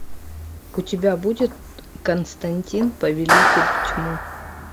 у тебя будет константин повелитель тьмы